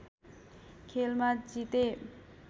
खेलमा जिते